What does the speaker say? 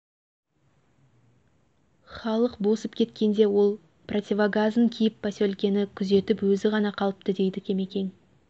халық босып кеткенде ол противогазын киіп поселкіні күзетіп өзі ғана қалыпты дейді кемекең